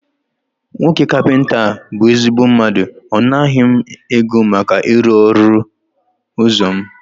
Nwoke kapịnta a bụ ezigbo mmadụ, ọ naghị m ego maka ịrụ ọnụ ụzọ mụ